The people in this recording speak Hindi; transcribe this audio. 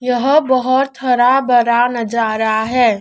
यह बहोत हरा भरा नजारा है।